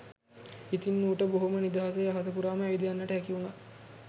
ඉතිං ඌට බොහොම නිදහසේ අහස පුරාම ඇවිද යන්ට හැකි වුණා